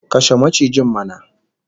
Kashe macijin mana!